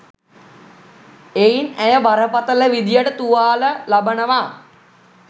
එයින් ඇය බරපතල විදියට තුවාල ලබනවා